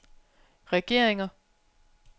regeringer